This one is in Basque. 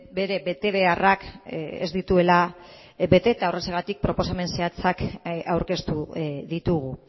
bere betebeharrak ez dituela bete eta horrexegatik proposamen zehatzak aurkeztu ditugu